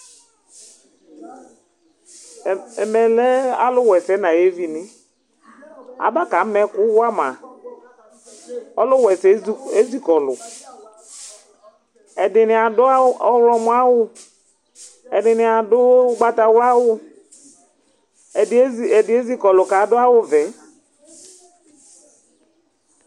Ɛmɛ lɛ alu wʋɛsɛ nu ayu evi, aba ka ma ɛku wʋa ma, ɔluwa ɛsɛ esi kɔlu, ɛdini adu ɔwlumɔ awu, ɛdini adu ugbata wla awu, ɛdi ezikɔlu ku adu awu vɛ